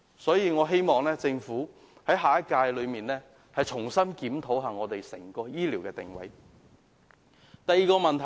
所以，我希望下屆政府重新檢討整個醫療體系的定位。